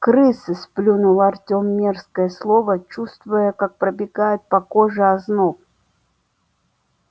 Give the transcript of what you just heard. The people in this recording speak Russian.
крысы сплюнул артём мерзкое слово чувствуя как пробегает по коже озноб